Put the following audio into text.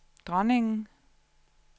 dronningen